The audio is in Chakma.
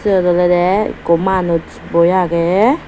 siyot olode ekko manuj boi agey.